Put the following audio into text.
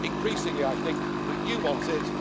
it. Increasingly, I think that you want